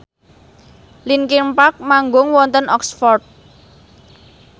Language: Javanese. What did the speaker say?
linkin park manggung wonten Oxford